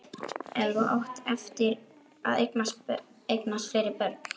En þú átt eftir að eignast fleiri börn.